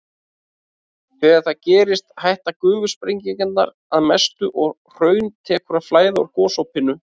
Þegar það gerist hætta gufusprengingarnar að mestu og hraun tekur að flæða úr gosopinu.